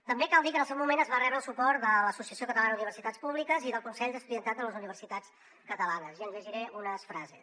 també cal dir que en el seu moment es va rebre el suport de l’associació catalana d’universitats públiques i del consell de l’estudiantat de les universitats catalanes i en llegiré unes frases